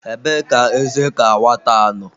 Ebee ka eze ka nwata nọ?